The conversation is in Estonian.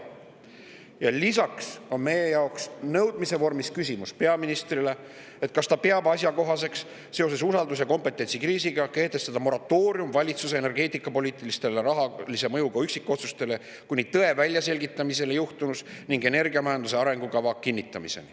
Ja lisaks on meil peaministrile nõudmise vormis küsimus, kas ta peab asjakohaseks seoses usalduse ja kompetentsi kriisiga kehtestada moratoorium valitsuse energeetikapoliitilistele rahalise mõjuga üksikotsustele, kuni on välja selgitatud tõde juhtunus ning kinnitatud energiamajanduse arengukava.